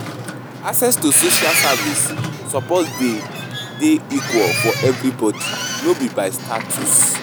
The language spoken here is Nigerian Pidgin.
Access to social services suppose dey dey equal for everybody, no be by status.